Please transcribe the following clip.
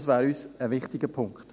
Dies wäre uns ein wichtiger Punkt.